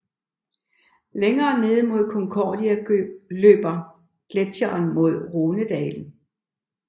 Længere nede end Concordia løber gletsjeren mod Rhonedalen